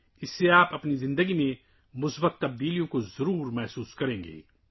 اس سے آپ یقینی طور پر اپنی زندگی میں مثبت تبدیلیاں محسوس کریں گے